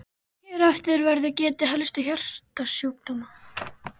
Hér á eftir verður getið helstu hjartasjúkdóma.